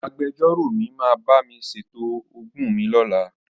Agbejọ́rò mi máa bá mi ṣètò ogún mi lọ́la.